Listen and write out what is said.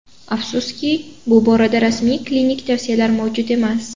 Afsuski, bu borada rasmiy klinik tavsiyalar mavjud emas.